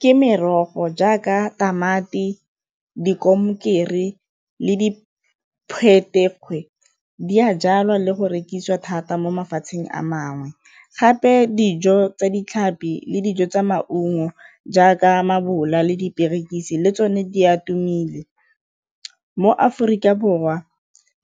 Ke merogo jaaka tamati, di le di di a jalwa le go rekisiwa thata mo mafatsheng a mangwe, gape dijo tsa ditlhapi le dijo tsa maungo jaaka mabola le diperekisi le tsone di a tumile. Mo Aforika Borwa